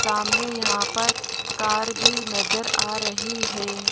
सामने यहां पर का भी नजर आ रही है।